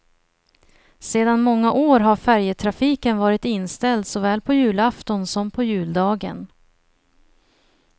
Sedan många år har färjetrafiken varit inställd såväl på julafton som på juldagen.